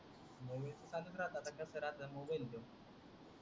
असच राहत कसच राहत मोबाइल तो,